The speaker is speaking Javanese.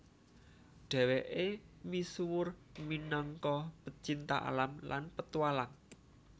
Dheweke misuwur minangka pecinta alam lan petualang